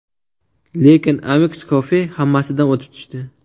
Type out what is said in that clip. Lekin Amix Coffee hammasidan o‘tib tushdi.